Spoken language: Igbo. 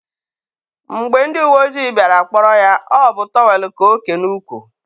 mgbe ndị uwe ojii bịara kpọrọ ya, ọ bụ tọwel ka o ke n'ukwu.